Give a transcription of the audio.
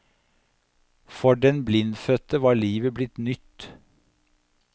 For den blindfødte var livet blitt nytt.